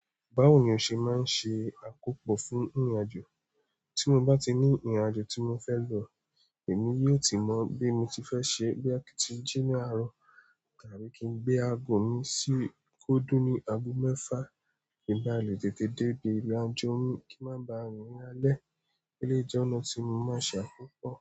Báwo ni o ṣe máa ń ṣe àkó pọ̀ fún ìrìnàjò? Tí mo bá ti ní ìrìnàjò tí mo fẹ́ lọ, èmi yóò ti mọ bí mo ti fẹ́ ṣe é, bí a ti jí ní àárọ̀ tàbí kí n gbé ago mi sí kó dún ní ago mẹ́fà kí n ba lè tètè dé dé ilé ajó mi kí má ba rìn lálẹ́. Eléyìí jẹ́ ọ̀nà tí mo máa ṣe àkópò.